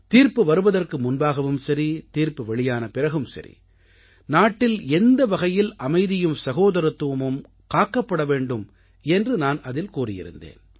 தீர்ப்பு வருவதற்கு முன்பாகவும் சரி தீர்ப்பு வெளியான பிறகும் சரி நாட்டில் எந்த வகையில் அமைதியும் சகோதரத்துவமும் காக்கப்பட வேண்டும் என்று நான் அதில் கூறியிருந்தேன்